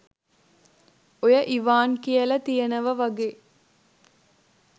ඔය ඉවාන් කියල තියෙනව වගේ